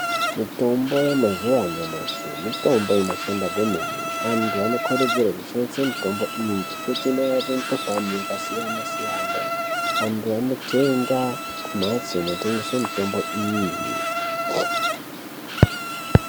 Mitombo yemazuwa anyamashi mitombo inoshanda kwemene. Antu anokurudzirwa kushandisa mitombo iyi ngekuti inorape mikhuhlani yakasiyanasiyana. Vantu vanotenga kumhatso inotengesa mitombo iyi.